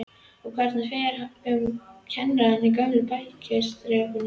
Og hvernig fer um kennarana í gömlu bæjarskrifstofunum?